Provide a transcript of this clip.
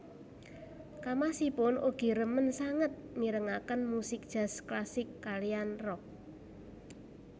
Kamasipun ugi remen sanget mirengaken musik jazz klasik kaliyan rock